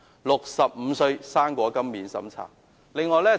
65歲'生果金'免審查！